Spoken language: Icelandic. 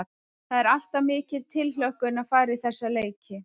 Það er alltaf mikil tilhlökkun að fara í þessa leiki.